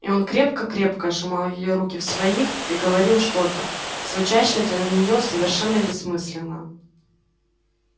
и он крепко-крепко сжимал её руки в своих и говорил что-то звучащее для неё совершенно бессмысленно